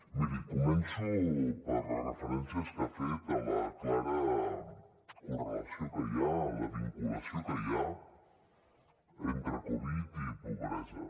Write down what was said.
miri començo per les referències que ha fet a la clara correlació que hi ha a la vinculació que hi ha entre covid dinou i pobresa